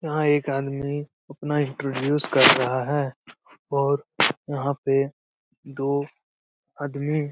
यहाँ एक आदमी अपना इंटरव्यूज कर रहा है और यहाँ पे दो आदमी --